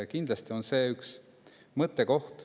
Kindlasti on see üks mõttekoht.